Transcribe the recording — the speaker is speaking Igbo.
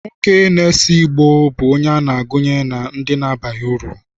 Nwoke na-ese ìgbó bụ onye a na-agụnye na ndị abaghị uru.